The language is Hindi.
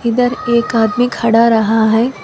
इधर एक आदमी खड़ा रहा है।